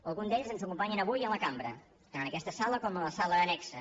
alguns d’ells ens acompanyen avui a la cambra tant en aquesta sala com a la sala annexa